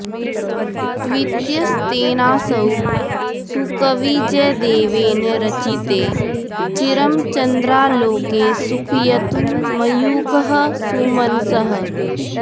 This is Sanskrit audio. द्वितीयस्तेनासौ सुकविजयदेवेन रचिते चिरं चन्द्रालोके सुखयतु मयूखः सुमनसः